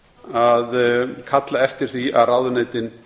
að kalla eftir því að ráðuneytin